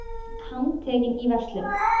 Handtekinn í verslun